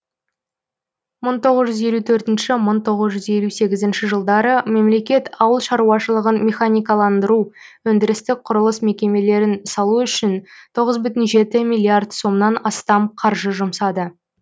мың тоғыз жүз елу төртінші мың тоғыз жүз елу сегізінші жылдары мемлекет ауыл шаруашылығын механикаландыру өндірістік құрылыс мекемелерін салу үшін тоғыз бүтін жеті миллиард сомнан астам қаржы жұмсады